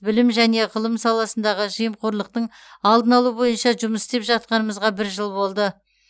білім және ғылым саласындағы жемқорлықтың алдын алу бойынша жұмыс істеп жатқанымызға бір жыл болды